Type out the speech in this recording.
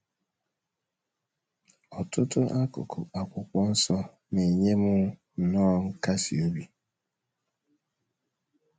Ọtụtụ akụkụ Akwụkwọ Nsọ na - enye m nnọọ nkasi obi.